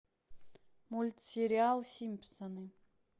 мультсериал симпсоны